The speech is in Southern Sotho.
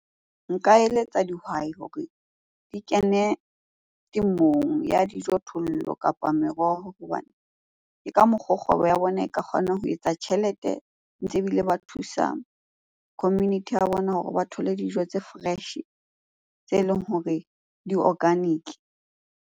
Nka eletsa dihwai hore di kene temong ya dijo, thollo kapa meroho. Hobane ke ka mokgoo kgwebo ya bona e ka kgona ho etsa tjhelete, ntse ebile ba thusa community ya bona hore ba thole dijo tse fresh-e tse leng hore di-organic.